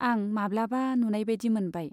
आं माब्लाबा नुनाइबादि मोनबाय।